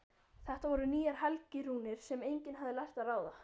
Þetta voru nýjar helgirúnir sem enginn hafði lært að ráða.